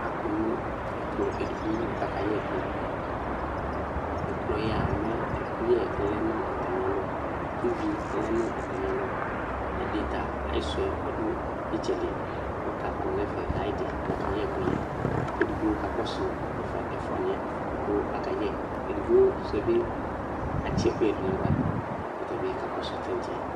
Akɔ nʋ ɛkplɔ edignowʋ kʋ akayɛ ɛkʋ ɛkplɔ yɛa mɛ ɛkʋyɛ lɛnʋ atami alɔ kʋ ivi lɛnʋ atmi alɔ ɛdi ta ayisʋɛ ɔdʋ itsɛdi kʋ ɔta kɔnʋ ɛfɛ ayidi lakayɛ ɛkʋyɛɛ kʋ edigbo kakɔsʋ ɛfʋa niyɛ kʋ akayɛ edigbo sʊɛbi atsi ɛkʋyɛ dʋnʋ aɣka kʋ ɔtabi kakɔsu tantse